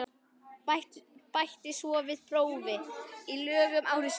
Bætti svo við prófi í lögum ári síðar.